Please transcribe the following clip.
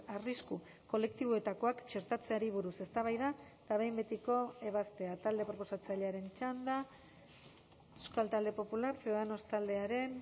arrisku kolektiboetakoak txertatzeari buruz eztabaida eta behin betiko ebazpena talde proposatzailearen txanda euskal talde popular ciudadanos taldearen